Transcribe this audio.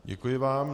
Děkuji vám.